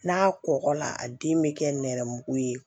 N'a kɔkɔla a den bɛ kɛ nɛrɛmugu ye